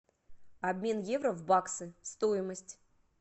обмен евро в баксы стоимость